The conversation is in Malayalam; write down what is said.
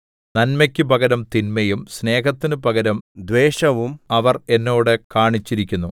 നന്മയ്ക്കു പകരം തിന്മയും സ്നേഹത്തിന് പകരം ദ്വേഷവും അവർ എന്നോട് കാണിച്ചിരിക്കുന്നു